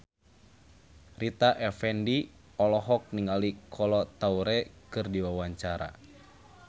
Rita Effendy olohok ningali Kolo Taure keur diwawancara